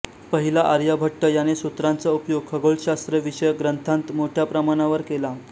पहिला आर्यभट्ट याने सूत्रांचा उपयोग खगोलशास्त्र विषयक ग्रंथांत मोठ्या प्रमाणावर केला